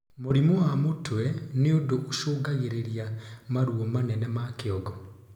Mũrimũ wa mutwe ni undu ucungagiririra maruo manene kĩongo